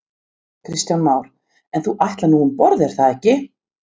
Kristján Már: En þú ætlar nú um borð er það ekki?